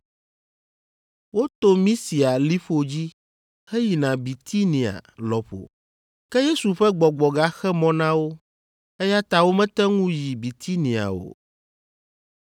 Woto Misia liƒo dzi heyina Bitinia lɔƒo. Ke Yesu ƒe gbɔgbɔ gaxe mɔ na wo, eya ta womete ŋu yi Bitinia o,